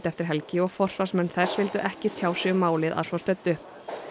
eftir helgi og forsvarsmenn þess vildu ekki tjá sig um málið að svo stöddu